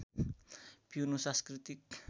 पिउनु सांस्कृतिक